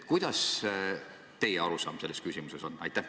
Milline on teie arusaam selles küsimuses?